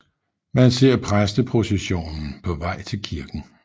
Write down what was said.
Man ser præsteprocessionen på vej til kirken